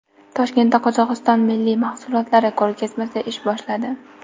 Toshkentda Qozog‘iston milliy mahsulotlari ko‘rgazmasi ish boshladi .